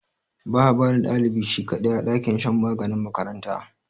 Ba a barin dlibi shi kadai, a dakin shan maganin makaranta.